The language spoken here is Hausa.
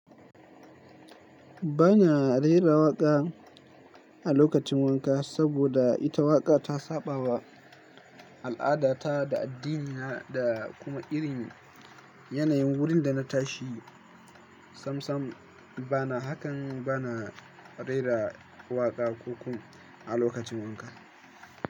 Ba na rera waƙa a lokacin wanka saboda ita waƙa ta saɓawa al'adata da addinina da kuma irin yanayin wurin da na tashi. Samsam bana hakan, bana rera waƙa ko kuma a lokacin wanka.